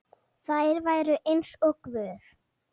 Þær væru eins og guð.